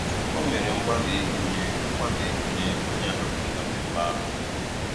O mèrè mgbalị́ ịgụ́nyè mgbalị́ ịgụ́nyè ònyè áhàpụrụ́ na mmèmme ahụ́.